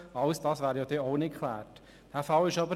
All das wäre dann auch nicht geklärt.